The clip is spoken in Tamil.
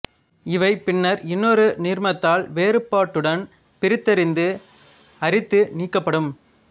இவை பின்னர் இன்னொரு நீர்மத்தால் வேறுபாட்டுடன் பிரித்தறிந்து அரித்து நீக்கப்படும்